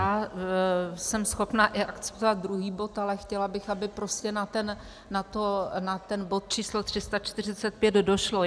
Já jsem schopna akceptovat i druhý bod, ale chtěla bych, aby prostě na ten bod číslo 345 došlo.